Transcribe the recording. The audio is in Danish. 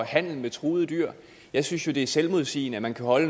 handel med truede dyr jeg synes jo det er selvmodsigende at man kan holde